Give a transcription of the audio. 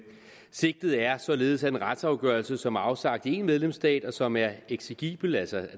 sigtet er således at en retsafgørelse som er afsagt i én medlemsstat og som er eksigibel altså